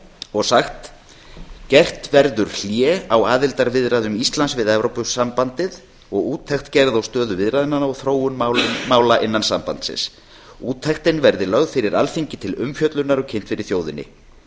og sagt gert verður hlé á aðildarviðræðum íslands við evrópusambandið og úttekt gerð á stöðu viðræðnanna og þróun mála innan sambandsins úttektin verði lögð fyrir alþingi til umfjöllunar og kynnt fyrir þjóðinni